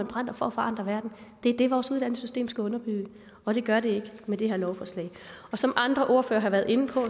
brænder for at forandre verden det er det vores uddannelsessystem skal underbygge og det gør det ikke med det her lovforslag som andre ordførere har været inde på